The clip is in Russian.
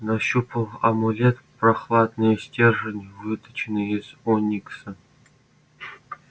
нащупал амулет прохладный стержень выточенный из оникса